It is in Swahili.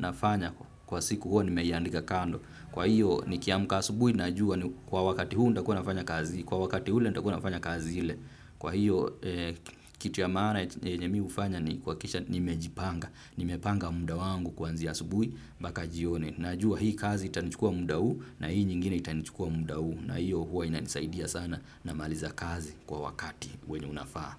nafanya kwa siku huwa ni meiandika kando. Kwa hiyo ni kiamka asubui na jua ni kwa wakati huu nita kuwa nafanya kazi, kwa wakati ule nita kuwa nafanya kazi hile. Kwa hiyo kitu ya maana yenye mi hufanya ni kuha kisha nimejipanga, nimepanga mda wangu kwanzia asubui mpaka jioni. Na jua hii kazi itanichukua mda huu na hii nyingine itanichukua mda huu na hiyo huwa ina nisaidia sana na maliza kazi kwa wakati wenye unafaa.